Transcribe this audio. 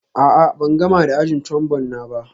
A'a, ban gama da ajin Trombone na ba